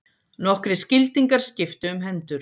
Nokkrir skildingar skiptu um hendur.